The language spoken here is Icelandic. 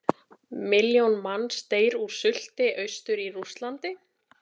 Milljón manns deyr úr sulti austur í Rússlandi.